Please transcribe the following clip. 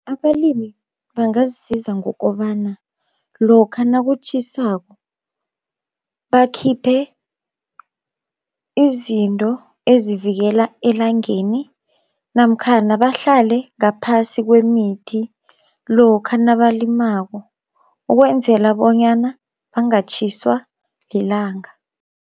Abalimi bangazisiza ngokobana lokha nakutjhisako bakhiphe izinto ezivikela elangeni, namkhana bahlale ngaphasi kwemithi lokha nabalimako ukwenzela bonyana bangatjhiswa lilanga.